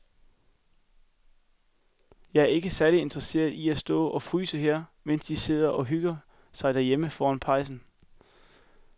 Jeg er ikke særlig interesseret i at stå og fryse her, mens de andre sidder og hygger sig derhjemme foran pejsen.